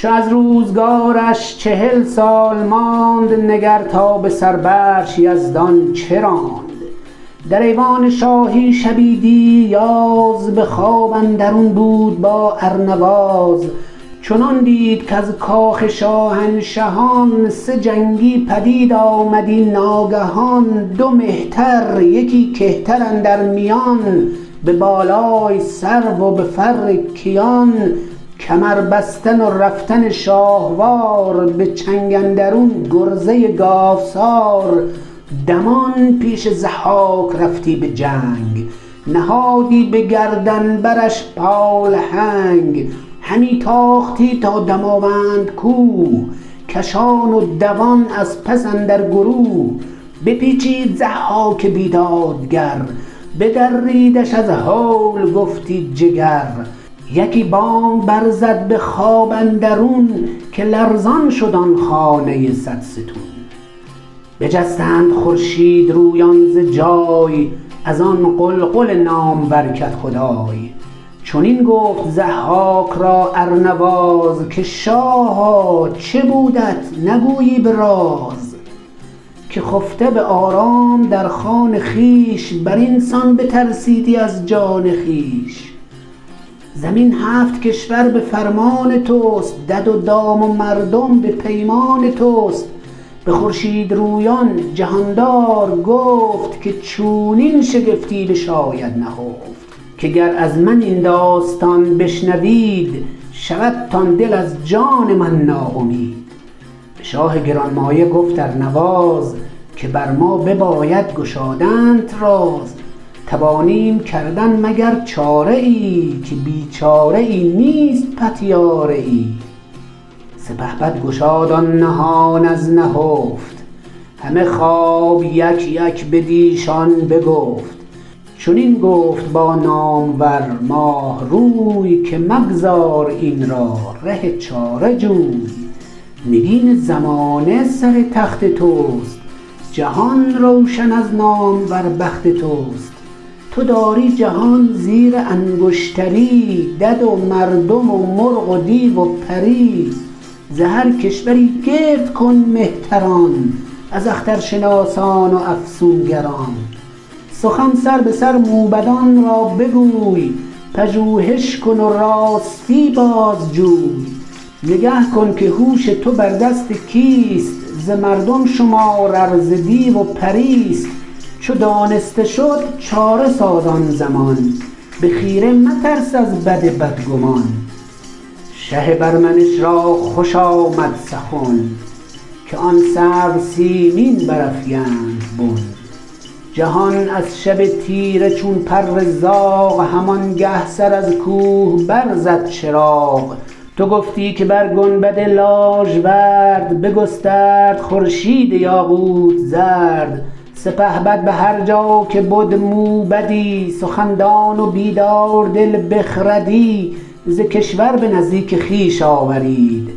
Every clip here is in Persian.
چو از روزگارش چهل سال ماند نگر تا به سر برش یزدان چه راند در ایوان شاهی شبی دیر یاز به خواب اندرون بود با ارنواز چنان دید کز کاخ شاهنشهان سه جنگی پدید آمدی ناگهان دو مهتر یکی کهتر اندر میان به بالای سرو و به فر کیان کمر بستن و رفتن شاهوار به چنگ اندرون گرزه گاوسار دمان پیش ضحاک رفتی به جنگ نهادی به گردن برش پالهنگ همی تاختی تا دماوند کوه کشان و دوان از پس اندر گروه بپیچید ضحاک بیدادگر بدریدش از هول گفتی جگر یکی بانگ بر زد به خواب اندرون که لرزان شد آن خانه صدستون بجستند خورشیدرویان ز جای از آن غلغل نامور کدخدای چنین گفت ضحاک را ارنواز که شاها چه بودت نگویی به راز که خفته به آرام در خان خویش بر این سان بترسیدی از جان خویش زمین هفت کشور به فرمان تو است دد و دام و مردم به پیمان تو است به خورشیدرویان جهاندار گفت که چونین شگفتی بشاید نهفت که گر از من این داستان بشنوید شودتان دل از جان من ناامید به شاه گرانمایه گفت ارنواز که بر ما بباید گشادنت راز توانیم کردن مگر چاره ای که بی چاره ای نیست پتیاره ای سپهبد گشاد آن نهان از نهفت همه خواب یک یک بدیشان بگفت چنین گفت با نامور ماهروی که مگذار این را ره چاره جوی نگین زمانه سر تخت تو است جهان روشن از نامور بخت تو است تو داری جهان زیر انگشتری دد و مردم و مرغ و دیو و پری ز هر کشوری گرد کن مهتران از اخترشناسان و افسونگران سخن سربه سر موبدان را بگوی پژوهش کن و راستی بازجوی نگه کن که هوش تو بر دست کیست ز مردم شمار ار ز دیو و پریست چو دانسته شد چاره ساز آن زمان به خیره مترس از بد بدگمان شه پر منش را خوش آمد سخن که آن سرو سیمین برافگند بن جهان از شب تیره چون پر زاغ همانگه سر از کوه بر زد چراغ تو گفتی که بر گنبد لاژورد بگسترد خورشید یاقوت زرد سپهبد به هر جا که بد موبدی سخن دان و بیداردل بخردی ز کشور به نزدیک خویش آورید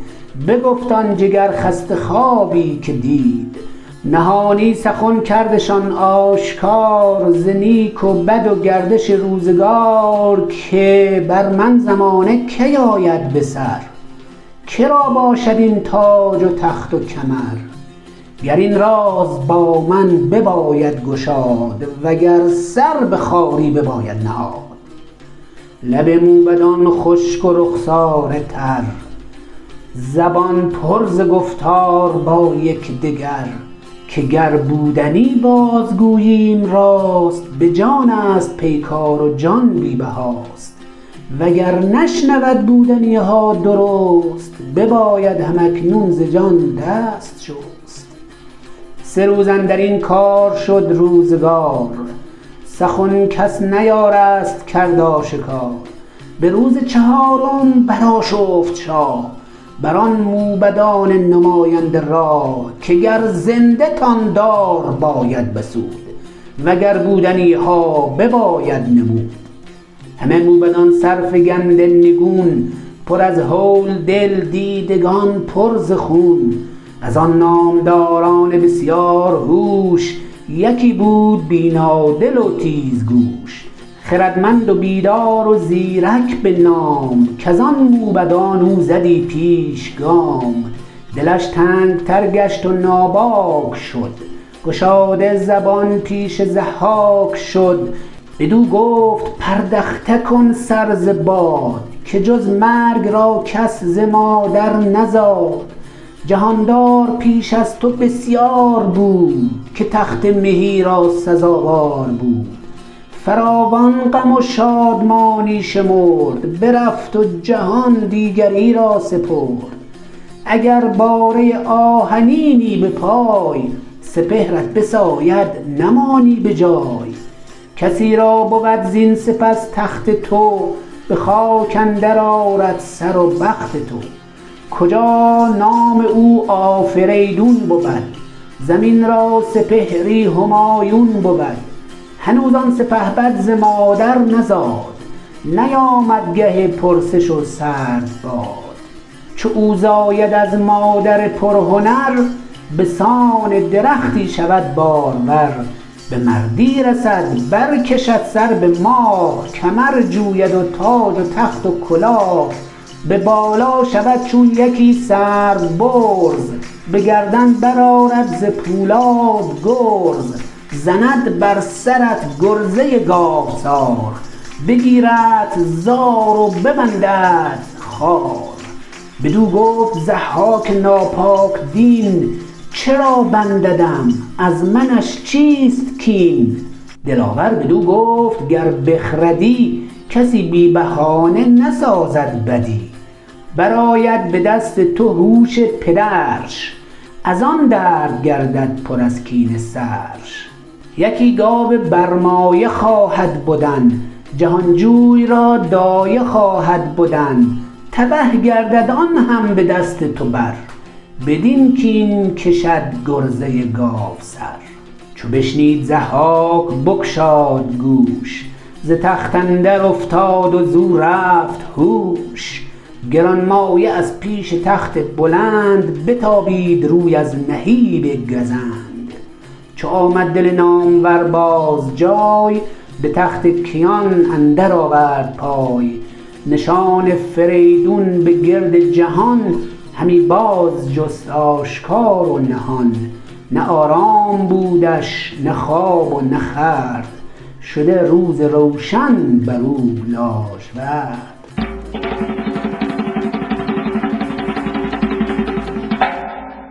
بگفت آن جگرخسته خوابی که دید نهانی سخن کردشان آشکار ز نیک و بد و گردش روزگار که بر من زمانه کی آید بسر که را باشد این تاج و تخت و کمر گر این راز با من بباید گشاد و گر سر به خواری بباید نهاد لب موبدان خشک و رخساره تر زبان پر ز گفتار با یکدگر که گر بودنی باز گوییم راست به جانست پیکار و جان بی بهاست و گر نشنود بودنی ها درست بباید هم اکنون ز جان دست شست سه روز اندر این کار شد روزگار سخن کس نیارست کرد آشکار به روز چهارم برآشفت شاه بر آن موبدان نماینده راه که گر زنده تان دار باید بسود و گر بودنی ها بباید نمود همه موبدان سرفگنده نگون پر از هول دل دیدگان پر ز خون از آن نامداران بسیار هوش یکی بود بینادل و تیزگوش خردمند و بیدار و زیرک به نام کز آن موبدان او زدی پیش گام دلش تنگ تر گشت و ناباک شد گشاده زبان پیش ضحاک شد بدو گفت پردخته کن سر ز باد که جز مرگ را کس ز مادر نزاد جهاندار پیش از تو بسیار بود که تخت مهی را سزاوار بود فراوان غم و شادمانی شمرد برفت و جهان دیگری را سپرد اگر باره آهنینی به پای سپهرت بساید نمانی به جای کسی را بود زین سپس تخت تو به خاک اندر آرد سر و بخت تو کجا نام او آفریدون بود زمین را سپهری همایون بود هنوز آن سپهبد ز مادر نزاد نیامد گه پرسش و سرد باد چو او زاید از مادر پرهنر به سان درختی شود بارور به مردی رسد بر کشد سر به ماه کمر جوید و تاج و تخت و کلاه به بالا شود چون یکی سرو برز به گردن برآرد ز پولاد گرز زند بر سرت گرزه گاوسار بگیردت زار و ببنددت خوار بدو گفت ضحاک ناپاک دین چرا بنددم از منش چیست کین دلاور بدو گفت گر بخردی کسی بی بهانه نسازد بدی برآید به دست تو هوش پدرش از آن درد گردد پر از کینه سرش یکی گاو برمایه خواهد بدن جهانجوی را دایه خواهد بدن تبه گردد آن هم به دست تو بر بدین کین کشد گرزه گاوسر چو بشنید ضحاک بگشاد گوش ز تخت اندر افتاد و زو رفت هوش گرانمایه از پیش تخت بلند بتابید روی از نهیب گزند چو آمد دل نامور باز جای به تخت کیان اندر آورد پای نشان فریدون به گرد جهان همی باز جست آشکار و نهان نه آرام بودش نه خواب و نه خورد شده روز روشن بر او لاژورد